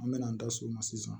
An me na an da so ma sisan